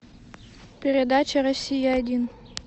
передача россия один